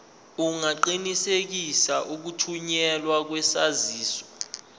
ungaqinisekisa ukuthunyelwa kwesaziso